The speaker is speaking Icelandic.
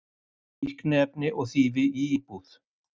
Fíkniefni og þýfi í íbúð